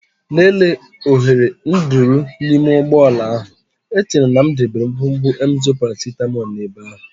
Lelee oghere nduru n'ime ụgbọ ala ahụ, echere m na m debere ngwugwu Emzor paracetamol n'ebe ahụ.